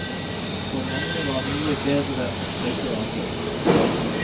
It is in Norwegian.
For mange var mye bedre og tryggere før.